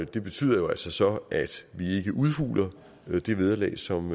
det betyder jo altså så at vi ikke udhuler det vederlag som